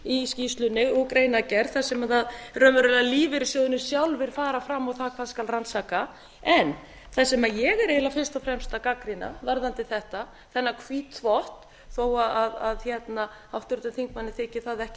í skýrslunni og greinargerð þar sem sem raunverulega lífeyrissjóðirnir sjálfir fara fram á það hvað skal rannsaka það sem ég er eiginlega fyrst og fremst að gagnrýna varðandi þetta þennan hvítþvott þó að háttvirtum þingmanni þyki það ekki